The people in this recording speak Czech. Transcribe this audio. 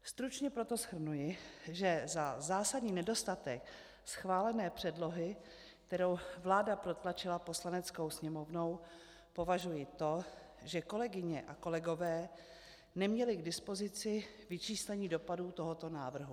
Stručně proto shrnuji, že za zásadní nedostatek schválené předlohy, kterou vláda protlačila Poslaneckou sněmovnou, považuji to, že kolegyně a kolegové neměli k dispozici vyčíslení dopadů tohoto návrhu.